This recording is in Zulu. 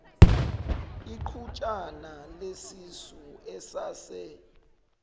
iqhutshana lesisu esase